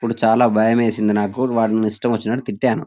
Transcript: అప్పుడు చాలా భయమేసింది నాకు వాడిని ఇష్టం వచ్చినట్టు తిట్టాను --